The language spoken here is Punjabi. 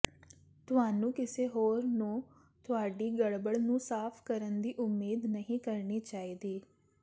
ਤੁਹਾਨੂੰ ਕਿਸੇ ਹੋਰ ਨੂੰ ਤੁਹਾਡੀ ਗੜਬੜ ਨੂੰ ਸਾਫ਼ ਕਰਨ ਦੀ ਉਮੀਦ ਨਹੀਂ ਕਰਨੀ ਚਾਹੀਦੀ